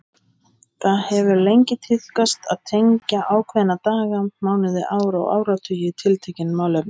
Það hefur lengi tíðkast að tengja ákveðna daga, mánuði, ár og áratugi við tiltekin málefni.